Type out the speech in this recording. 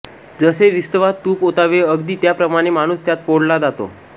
जसे विस्तवात तुप ओतावे अगदी त्या प्रमाणे माणुस त्यात पोळला जातो